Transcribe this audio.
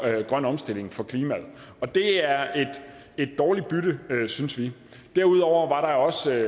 grøn omstilling for klimaet og det er et dårligt bytte synes vi derudover var der også i